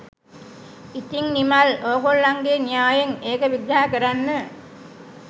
ඉතිං නිමල් ඕගොල්ලන්ගේ න්‍යායෙන් ඒක විග්‍රහ කරන්න